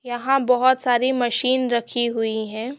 यहाँ बहोत सारी मशीन रखी हुई है।